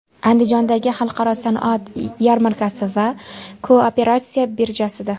Andijondagi Xalqaro sanoat yarmarkasi va Kooperatsiya birjasida.